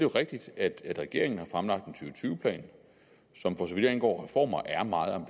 rigtigt at regeringen har fremlagt og tyve plan som for så vidt angår reformer er meget